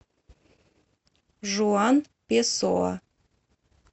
жуан песоа